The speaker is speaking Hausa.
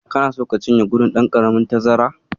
Kana so ka cinye gudun ɗan karamin tazara?